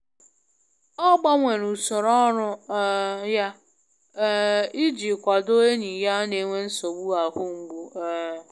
Ọ gbanwere usoro ọrụ um ya um i ji kwado enyi ya n'enwe nsogbu ahụmgbu. um